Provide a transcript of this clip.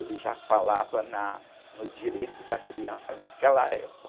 Ele já falava na, no direito da criança naquela época.